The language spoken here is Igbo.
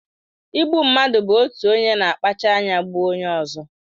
Igbu mmadụ bụ otu onye na-akpacha anya gbuo onye ọzọ.